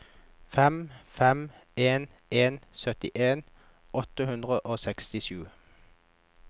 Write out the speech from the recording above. fem fem en en syttien åtte hundre og sekstisju